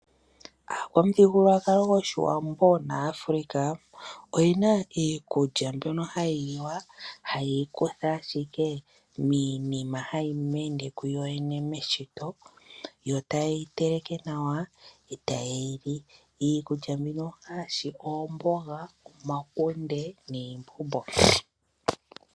Omuthigululwakalo gwOshiwambo nogwaAfrica oyena iikulya ya yooloka mbyoka hayi liwa, ha yeyi kutha ashike miinima haye yikunu yoyene meshito yo ta yeyi teleke nawa. Iikulya mbyino ongaashi oomboga, omakunde niimbombo.